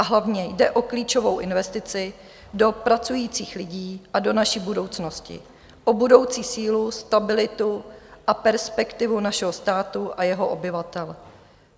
A hlavně jde o klíčovou investici do pracujících lidí a do naší budoucnosti, o budoucí sílu, stabilitu a perspektivu našeho státu a jeho obyvatel.